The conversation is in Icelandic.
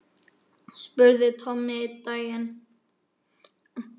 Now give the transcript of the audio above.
spurði Tommi einn daginn.